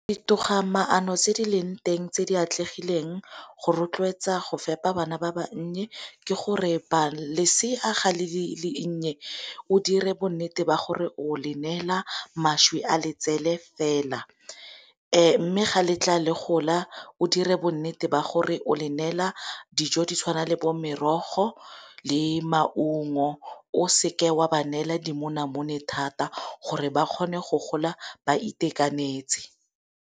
Ditogamaano tse di leng teng tse di atlegileng go rotloetsa go fepa bana ba bannye ke gore lesea ga le le nnye o dire bonnete ba gore o le neela mašwi a letsele fela. Mme ga letla le gola o dire bonnete ba gore o le neela dijo di tshwana le bo merogo le maungo o seke wa ba neela dimonamone thata gore ba kgone go gola ba itekanetse.